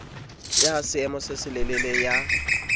ya seemo se selelele ya